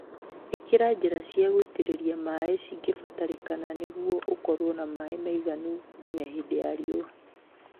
Ĩkĩra njĩra cia gũitĩrĩria maĩĩ cingĩbatarĩkana nĩguo ũkorwo na maĩĩ maiganu nginya hĩndĩ ya riũa